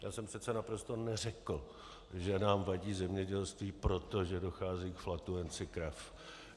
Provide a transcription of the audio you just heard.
Já jsem přece naprosto neřekl, že nám vadí zemědělství, protože dochází k flatulenci krav.